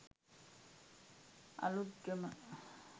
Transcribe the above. Aluthgama